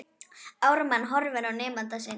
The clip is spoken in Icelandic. Ármann horfir á nemanda sinn.